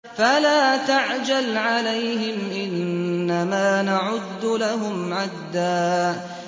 فَلَا تَعْجَلْ عَلَيْهِمْ ۖ إِنَّمَا نَعُدُّ لَهُمْ عَدًّا